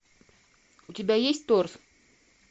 у тебя есть торс